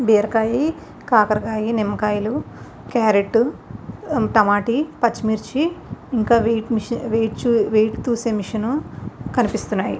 బీరకాయ కాకరకాయ నిమ్మకాయలు కైరేట్ టమాట పర్చిమిచి ఇంకా వెయిట్ చూసే మిషన్ కనిపెస్తునది.